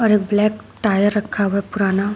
और एक black tyre रखा हुआ है पुराना।